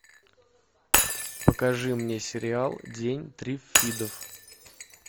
покажи мне сериал день триффидов